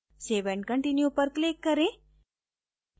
save and continue पर click करें